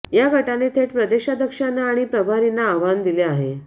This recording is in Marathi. या गटाने थेट प्रदेशाध्यक्षांना आणि प्रभारींना आव्हान दिले आहे